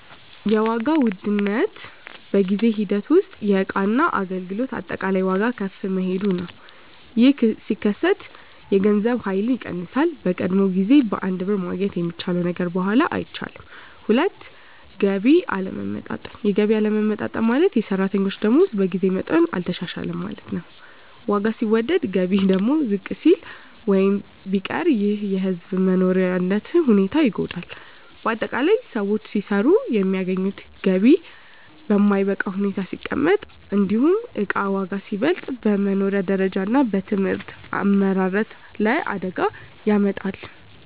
1. ዋጋ ውድነት በጊዜ ሂደት ውስጥ የእቃና አገልግሎት አጠቃላይ ዋጋ ከፍ መሄዱ ነው። ይህ ሲከሰት የገንዘብ ኃይል ይቀንሳል፤ በቀደመው ጊዜ በአንድ ብር ማግኘት የሚቻለው ነገር በኋላ አይቻልም። 2. የገቢ አለመለወጥ የገቢ አለመለወጥ ማለት፣ የሰራተኞች ደመወዝ በጊዜ መጠኑ አልተሻሻለም ማለት ነው። ዋጋ ሲወደድ ገቢ ደግሞ ዝቅ ቢል ወይም ቢቀር ይህ የሕዝብ መኖሪያ ሁኔታን ይጎዳል። ✅ በአጠቃላይ: ሰዎች ሲሰሩ የሚያገኙት ገቢ በማይበቃ ሁኔታ ሲቀመጥ፣ እንዲሁም እቃ ዋጋ ሲበልጥ፣ በመኖሪያ ደረጃ እና በሕዝብ አመራረት ላይ አደጋ ያመጣል።